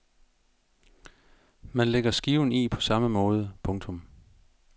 Man lægger skiven i på samme måde. punktum